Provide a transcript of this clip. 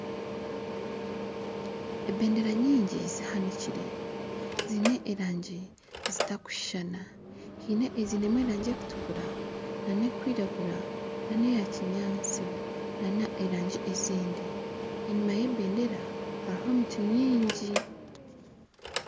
Ebendera nyingi zihanikire ziine erangi zitarikushushana haine eziinemu erangi erikutukura nana erikwiragura nana eyakinyaatsi nana erangi ezindi enyuma y'ebendera harimu emiti mingi